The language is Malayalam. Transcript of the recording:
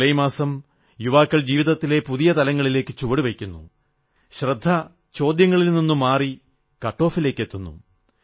ജൂലായ് മാസം യുവാക്കൾ ജീവിതത്തിലെ പുതിയ തലത്തിലേക്ക് ചുവടു വയ്ക്കുന്നു ശ്രദ്ധ ചോദ്യങ്ങളിൽ നിന്നു മാറി കട്ട് ഓഫിലേക്കെത്തുന്നു